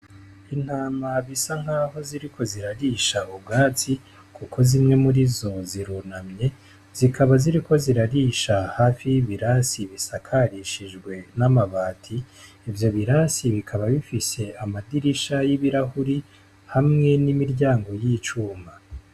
Intama zisa nkaho ziriko zirarisha ubwatsi kuko zimwe murizo zirunamye, zikaba ziriko zirarisha hafi y'ibirasi bisakarishijwe n'amabati. Ivyo birasi bikaba bifise amadirisha y'ibirahuri hamwe n'imiryango y'icuma.